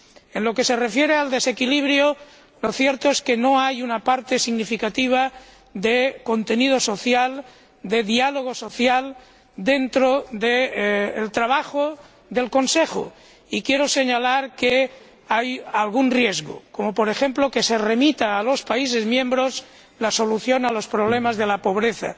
En lo que se refiere al desequilibrio, lo cierto es que no hay una parte significativa de contenido social, de diálogo social, dentro del trabajo del Consejo y quiero señalar que hay algún riesgo, como, por ejemplo, que se remita a los países miembros la solución a los problemas de la pobreza.